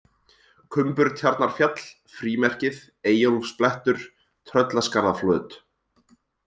Kumburtjarnarfjall, Frímerkið, Eyjólfsblettur, Tröllaskarðaflöt